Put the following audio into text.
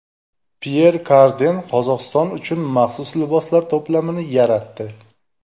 Pyer Karden Qozog‘iston uchun maxsus liboslar to‘plamini yaratdi.